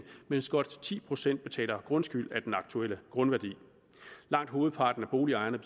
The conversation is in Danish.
mens godt ti procent betaler grundskyld af den aktuelle grundværdi langt hovedparten af boligejerne